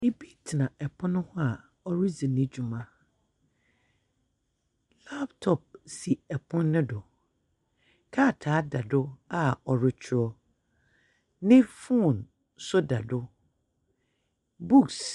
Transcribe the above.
Obi tsena pon ho a oridzi ne dwuma. Laptop si pon no do. Krataa da do a ɔrekyerɛw. Ne phone nso da do. Books .